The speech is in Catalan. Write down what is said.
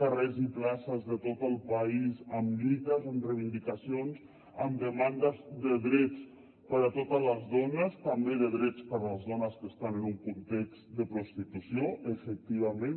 carrers i places de tot el país amb lluites amb reivindicacions amb demandes de drets per a totes les dones també de drets per a les dones que estan en un context de prostitució efectivament